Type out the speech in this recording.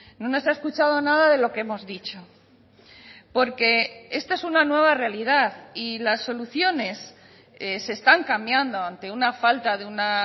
no nos ha escuchado nada de lo que hemos dicho porque esta es una nueva realidad y las soluciones se están cambiando ante una falta de una